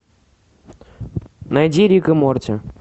найди рик и морти